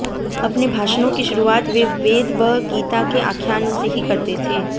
अपने भाषणों की शुरूआत वे वेद व गीता के आख्यानों से ही करते थे